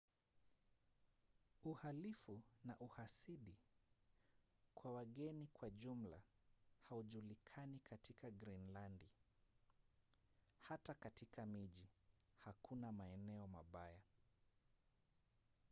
uhalifu na uhasidi kwa wageni kwa jumla haujulikani katika grinlandi. hata katika miji hakuna maeneo mabaya